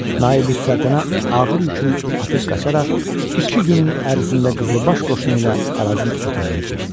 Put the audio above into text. Naibüs Səltənə ağır yükünü atıb qaçaraq iki günün ərzində qızılbaş qoşunu ilə Arazın o tayına keçdi.